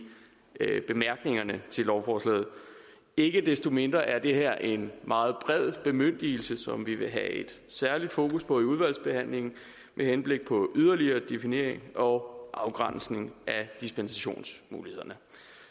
bemærkningerne til lovforslaget ikke desto mindre er det her en meget bred bemyndigelse som vi vil have et særligt fokus på i udvalgsbehandlingen med henblik på yderligere definering og afgrænsning af dispensationsmulighederne